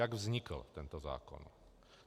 Jak vznikl tento zákon.